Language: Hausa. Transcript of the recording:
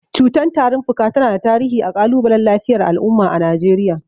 Cutar tarin fuka tana da tarihi a kalubalen lafiyar al’umma a Najeriya.